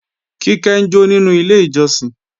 Kíkẹ́ ń jó nínú ilé ìjọsìn